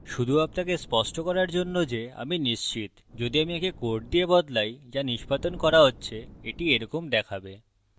শুধু আপনাকে স্পষ্ট করার জন্য যে আমি নিশ্চিত যদি আমি একে code দিয়ে বদলাই যা নিষ্পাদন করা হচ্ছে এটি এরকম দেখাবে